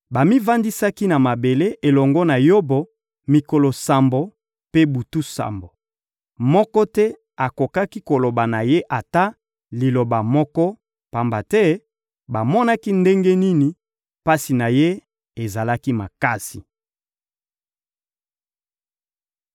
Bamivandisaki na mabele elongo na Yobo mikolo sambo mpe butu sambo. Moko te akokaki koloba na ye ata liloba moko, pamba te bamonaki ndenge nini pasi na ye ezalaki makasi.